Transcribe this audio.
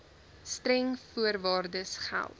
streng voorwaardes geld